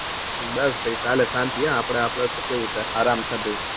બસ ભાઈ સાલે શાંતિ હો આપડે આપડે તો કેવું સે આરામ સે ભાઈ